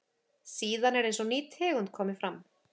síðan er eins og ný tegund komi fram